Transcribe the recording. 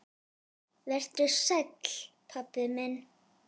Vertu sæll, pabbi minn.